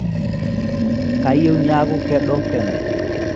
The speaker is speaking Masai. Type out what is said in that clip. kayieu niaku kedo peno